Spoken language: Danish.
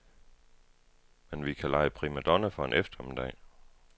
Men vi kan lege primadonna for en eftermiddag.